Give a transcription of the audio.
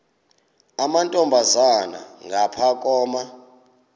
amantombazana ngapha koma